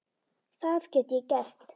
Það get ég gert.